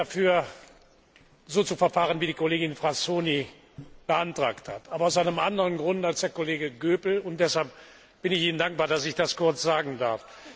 Wir sind nicht dafür, so zu verfahren, wie das die Kollegin Frassoni beantragt hat, aber aus einem anderen Grund als der Kollege Goepel, und deshalb bin ich Ihnen dankbar, dass ich das kurz darlegen darf.